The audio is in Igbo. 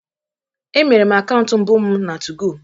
Emere m akaụntụ mbụ m na 2go